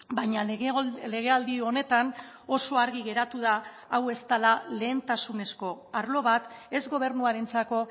baina legealdi honetan oso argi geratu da hau ez dela lehentasunezko arlo bat ez gobernuarentzako